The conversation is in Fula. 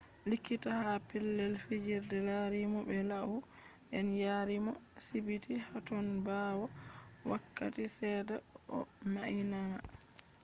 likkita ha pelell fijirde larimo be lau den yariimo sibiti haton baawoo wakkati sedda o mainama